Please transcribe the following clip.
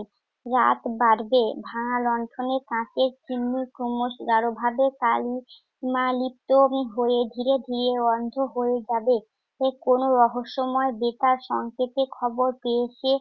রাত বাড়বে। ভাঙা লণ্ঠনের কাঁচের চিমনি ক্রমশ গাঢ়ভাবে কালিস্মা লিপ্ত হম হয়ে ধীরে ধীরে অন্ধ হয়ে যাবে। সে কোন রহস্যময় বেতার সংকেতে খবর পেয়েছে।